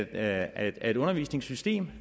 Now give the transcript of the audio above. af et undervisningssystem